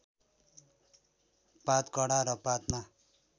पात कडा र पातमा